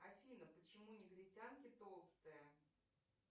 афина почему негритянки толстые